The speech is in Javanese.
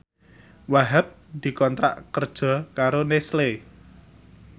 Wahhab dikontrak kerja karo Nestle